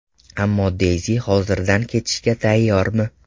Ammo Deyzi hoziridan kechishga tayyormi?